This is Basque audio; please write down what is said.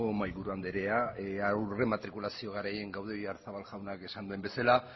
mahaiburu andrea aurrematrikulazio garaian gaude oyarzabal jaunak esan duen bezala